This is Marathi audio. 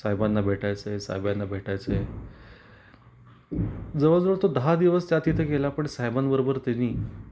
साहेबांना भेटायच आहे, साहेबांना भेटायच आहे. जवळ जवळ तो दहा दिवस त्या तिथे गेला पण साहेबां बरोबर त्यांनी